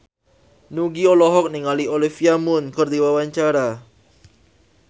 Nugie olohok ningali Olivia Munn keur diwawancara